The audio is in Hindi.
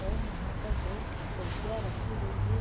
और वहाँ पर दो कुर्सियाँ रखी हुई है।